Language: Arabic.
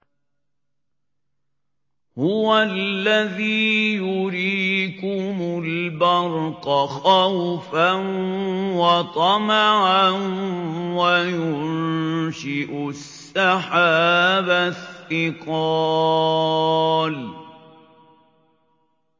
هُوَ الَّذِي يُرِيكُمُ الْبَرْقَ خَوْفًا وَطَمَعًا وَيُنشِئُ السَّحَابَ الثِّقَالَ